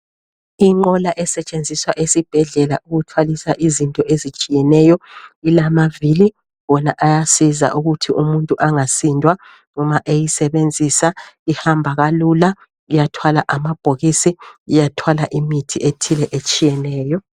Inqola esetshenziwa esibhedlela ukuthwalisa izinto ezitshiyeneyo. Ilamaviri wona ayasiza ukuthi umuntu angasindwanxa eyisebenzisa ihamba kalula, iyathwala amabhokisi, iyathwala imithi ethile etshiyeneyo.